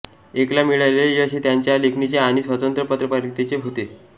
ऐक्यला मिळालेले यश हे त्यांच्या लेखणीचे आणि स्वतंत्र पत्रकारितेचे होते